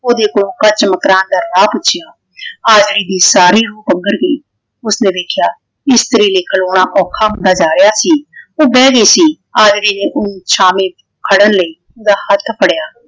ਓਹਦੇ ਕੋਲੋਂ ਕੱਚ ਮਕਰਾਣ ਦਾ ਰਾਹ ਪੁੱਛਿਆ। ਆਜੜੀ ਦੀ ਸਾਰੀ ਰੂਹ ਪੰਗਰ ਗਈ। ਉਸਨੇ ਵੇਖਿਆ ਇਸਤਰੀ ਲਈ ਖਲੌਣਾ ਔਖਾ ਹੁੰਦਾ ਜਾ ਰਹਿਆ ਸੀ। ਉਹ ਬਹਿ ਗਈ ਸੀ। ਆਜੜੀ ਨੇ ਓਹਨੂੰ ਛਾਵੇਂ ਖੜਨ ਲਈ ਉਹਦਾ ਹੱਥ ਫੜਿਆ।